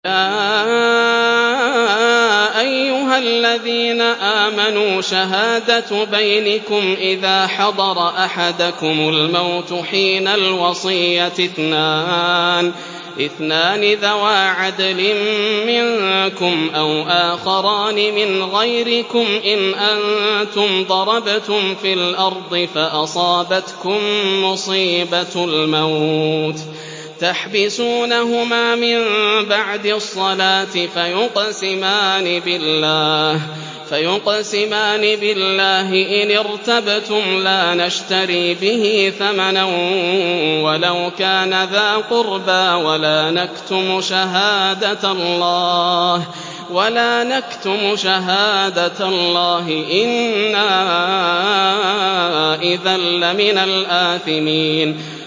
يَا أَيُّهَا الَّذِينَ آمَنُوا شَهَادَةُ بَيْنِكُمْ إِذَا حَضَرَ أَحَدَكُمُ الْمَوْتُ حِينَ الْوَصِيَّةِ اثْنَانِ ذَوَا عَدْلٍ مِّنكُمْ أَوْ آخَرَانِ مِنْ غَيْرِكُمْ إِنْ أَنتُمْ ضَرَبْتُمْ فِي الْأَرْضِ فَأَصَابَتْكُم مُّصِيبَةُ الْمَوْتِ ۚ تَحْبِسُونَهُمَا مِن بَعْدِ الصَّلَاةِ فَيُقْسِمَانِ بِاللَّهِ إِنِ ارْتَبْتُمْ لَا نَشْتَرِي بِهِ ثَمَنًا وَلَوْ كَانَ ذَا قُرْبَىٰ ۙ وَلَا نَكْتُمُ شَهَادَةَ اللَّهِ إِنَّا إِذًا لَّمِنَ الْآثِمِينَ